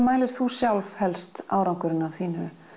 mælir þú sjálf helst árangurinn af þínu